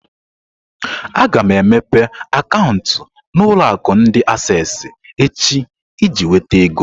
Aga m emepe akaụntụ na ulo akụ ndi Asessi echi iji nweta ego.